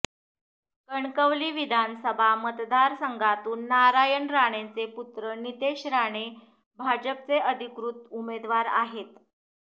कणकवली विधानसभा मतदारसंघातून नारायण राणेंचे पुत्र नितेश राणे भाजपचे अधिकृत उमेदवार आहेत